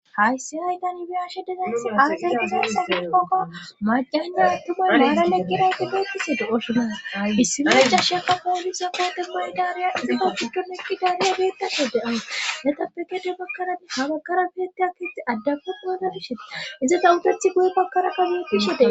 haysi hay tani beyashe dezaysi aze gizaysa gidikoka macayne attumay naana leqqirayte beetise do7oshuda dissibira ca sha ka kooliza kate maydariya iza fa giddon eqqi daanea geettasho de7ays metappe kede bakkaradi habakara biette aketh addapepoana bishe izata utethi goye bakkara kageepishe dees